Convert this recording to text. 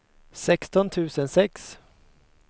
sexton tusen sex